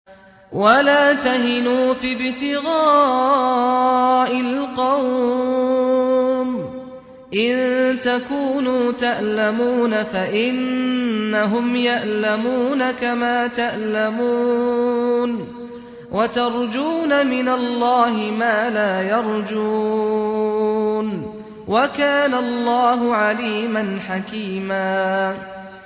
وَلَا تَهِنُوا فِي ابْتِغَاءِ الْقَوْمِ ۖ إِن تَكُونُوا تَأْلَمُونَ فَإِنَّهُمْ يَأْلَمُونَ كَمَا تَأْلَمُونَ ۖ وَتَرْجُونَ مِنَ اللَّهِ مَا لَا يَرْجُونَ ۗ وَكَانَ اللَّهُ عَلِيمًا حَكِيمًا